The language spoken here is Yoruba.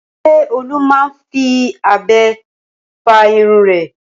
Ṣé Olú máa ń fi abẹ fá irun rẹ̀?